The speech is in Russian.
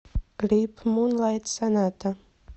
клип мунлайт соната